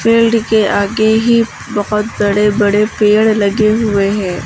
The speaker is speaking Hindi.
बिल्डिंग के आगे ही बहुत बड़े बड़े पेड़ लगे हुए हैं।